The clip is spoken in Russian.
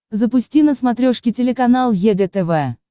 запусти на смотрешке телеканал егэ тв